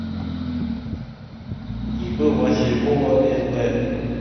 ип василькова нп